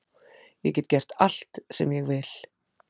Ég get gert allt sem ég vil